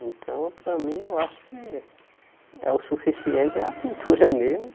Então, para mim, eu acho que é o suficiente a pintura mesmo.